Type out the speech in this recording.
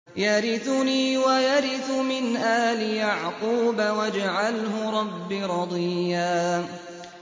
يَرِثُنِي وَيَرِثُ مِنْ آلِ يَعْقُوبَ ۖ وَاجْعَلْهُ رَبِّ رَضِيًّا